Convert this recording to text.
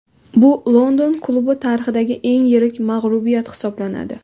Bu London klubi tarixidagi eng yirik mag‘lubiyat hisoblanadi.